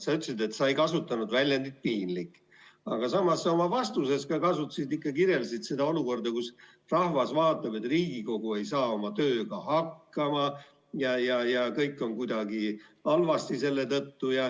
Sa ütlesid, et sa ei kasutanud väljendit "piinlik", aga samas oma vastuses ikkagi kirjeldasid olukorda, kuidas rahvas vaatab, et Riigikogu ei saa oma tööga hakkama ja kõik on seetõttu kuidagi halvasti.